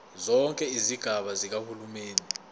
zonke izigaba zikahulumeni